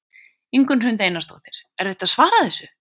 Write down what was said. Ingunn Hrund Einarsdóttir: Erfitt að svara þessu?